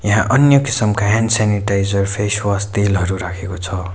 यहाँ अन्य किसिमको ह्यान्ड स्यानिटाइजर फेसवास तेलहरू राखेको छ।